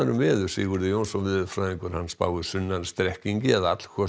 veðri Sigurður Jónsson veðurfræðingur spáir sunnan strekkingi eða